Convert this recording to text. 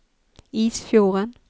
Isfjorden